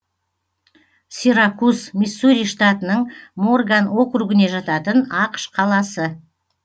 сиракус миссури штатының морган округіне жататын ақш қаласы